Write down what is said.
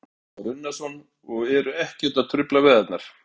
Kristján Már Unnarsson: Og eru ekkert að trufla veiðarnar?